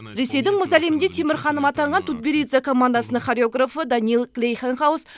ресейдің мұз әлемінде темір ханым атанған тутберидзе командасының хореографы даниил глейхенгауз